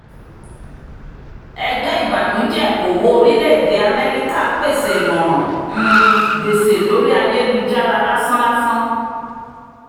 ẹgbẹ́ ìbànújẹ̀kòwó orílẹ̀-èdè amẹ́ríkà pèsè ìmọ̀ràn um gbèsè lórí ayélujára lásán-làsán